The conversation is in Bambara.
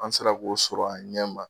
An sera k'o sɔrɔ a ɲɛ ma.